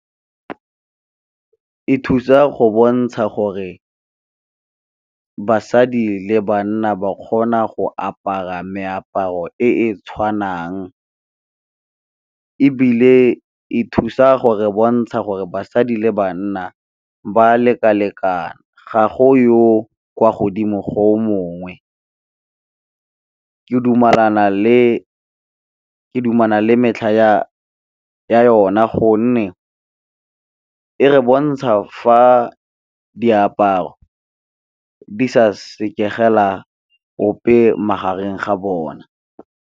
E thusa go bontsha gore basadi le banna ba kgona go apara meaparo e e tshwanang, ebile e thusa gore bontsha gore basadi le banna ba lekalekane ga go yo kwa godimo go o mongwe. Ke dumalana le metlha ya yona gonne e re bontsha fa diaparo di sa sekegela ope magareng ga bona.